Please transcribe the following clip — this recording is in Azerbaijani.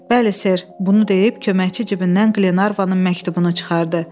Bəli ser, bunu deyib köməkçi cibindən Klenarvanın məktubunu çıxartdı.